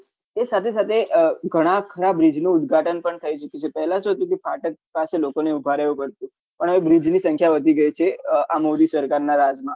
એ સાથે સાથે ઘણા ખરા bridge નું ઉદઘાટન પણ થઇ ચુક્યું છે પહલા શું હતું કે ફાટક પાસે લોકોને ઉભા રહવું પડતું પણ હવે bridge ની સંખ્યા વધી ગઈ છે આ મોદી સરકાર ના રાજ મા